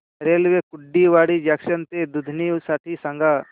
railway Kurduwadi junction ते दुधनी साठी सांगा